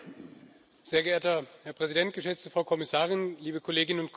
Sehr geehrter Herr Präsident, geschätzte Frau Kommissarin, liebe Kolleginnen und Kollegen!